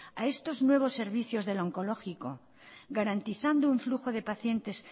a estos nuevos servicios del onkologikoa garantizando un flujo de pacientes